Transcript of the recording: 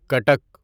Cuttack